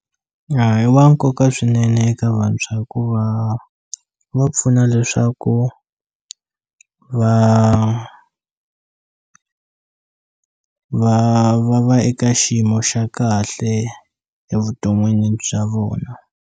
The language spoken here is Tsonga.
I wa nkoka swinene eka vantshwa hikuva wu va pfuna leswaku va va va va eka xiyimo xa kahle evuton'wini bya vona.